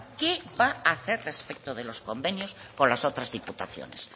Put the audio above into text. qué va a hacer respecto de los convenios con las otras diputaciones